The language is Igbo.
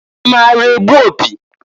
I maara egbu opi?